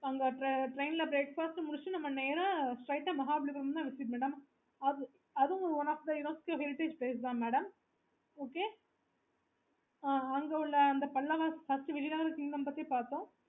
அங்க train ல breakfast முடிச்சிட்டு நேரா Mahabalipuram தான் இருக்கு madam அதுவும்